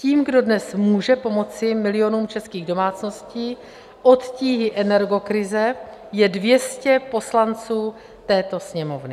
Tím, kdo dnes může pomoci milionům českých domácností od tíhy energokrize, je 200 poslanců této Sněmovny.